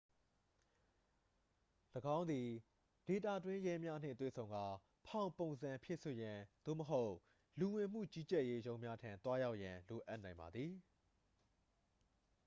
၎င်းသည် ဒေသတွင်းရဲများနှင့်တွေ့ဆုံကာ ဖောင်ပုံစံဖြည့်စွက်ရန် သို့မဟုတ် လူဝင်မှု ကြီးကြပ်ရေးရုံးများထံ သွားရောက်ရန် လိုအပ်နိုင်ပါသည်